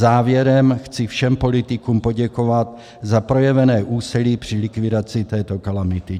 Závěrem chci všem politikům poděkovat za projevené úsilí při likvidaci této kalamity.